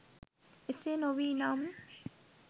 එසේ නොවී නම්